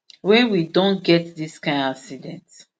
wey we don get dis kain accident